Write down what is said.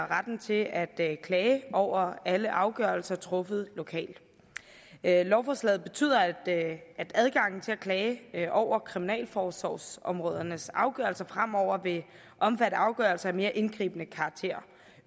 retten til at klage over alle afgørelser truffet lokalt lovforslaget betyder at adgangen til at klage over kriminalforsorgsområdernes afgørelser fremover vil omfatte afgørelser af mere indgribende karakter